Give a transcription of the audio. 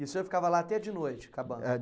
E o senhor ficava lá até de noite, acabando? Eh,